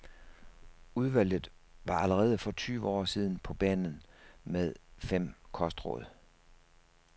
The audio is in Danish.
Udvalget var allerede for tyve år siden på banen med fem kostråd.